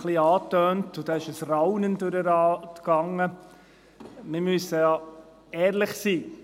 Ich habe es ein bisschen angetönt, und da ging ein Raunen durch den Rat – wir müssen ja ehrlich sein: